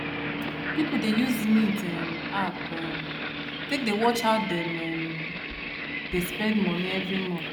people dey use mint um app um take dey watch how dem um dey spend money every month